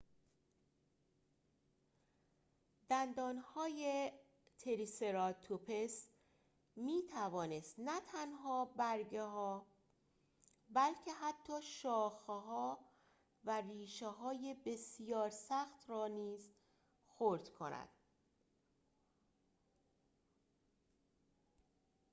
دندانهای تریسراتوپس می‌توانست نه تنها برگ‌ها بلکه حتی شاخه‌ها و ربشه‌های بسیار سخت را نیز خرد کند